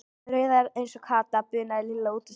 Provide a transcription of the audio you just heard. Rauðhærð eins og Kata, bunaði Lilla út úr sér.